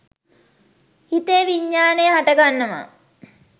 හිතේ විඤ්ඤාණය හටගන්නවා.